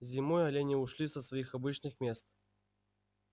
зимой олени ушли со своих обычных мест